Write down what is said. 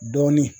Dɔɔnin